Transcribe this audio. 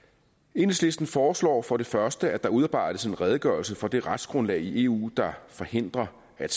enhedslisten foreslår for det første at der udarbejdes en redegørelse for det retsgrundlag i eu der forhindrer at